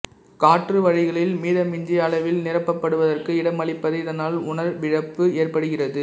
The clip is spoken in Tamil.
காற்றுவழிகளில் மிதமிஞ்சிய அளவில் நிரப்பப்படுவதற்கு இடமளிப்பது இதனால் உணர்விழப்பு ஏற்படுகிறது